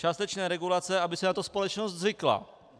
Částečné regulace, aby si na to společnost zvykla.